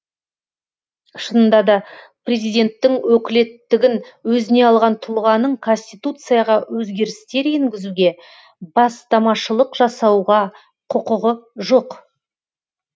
шынында да президенттің өкілеттігін өзіне алған тұлғаның конституцияға өзгерістер енгізуге бастамашылық жасауға құқығы жоқ